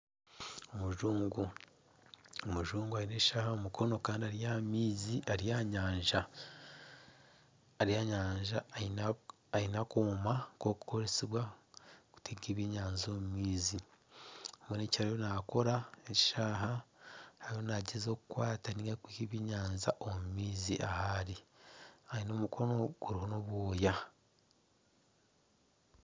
Omujungu, omujungu aine eshaaha aha mukono kandi ari aha nyanja aine akooma k'okukoresibwa kuteega ebyenyanja omu maizi bwenu ekyariyo nakora ezi shaaha eriyo nagyezaho kukwata nari kwiiha ebyenyanja omu maizi ahari aine omukono guriho n'obwooya.